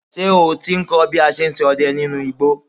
Ṣé o ti ń kọ́ bí a ṣ ń sọdẹ nínú igbó?